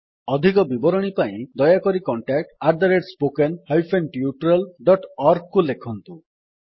ଅଧିକ ବିବରଣୀ ପାଇଁ ଦୟାକରି contactspoken tutorialorg କୁ ଲେଖନ୍ତୁ